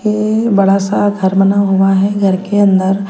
ये अ बड़ा सा घर बना हुआ है घर के अंदर--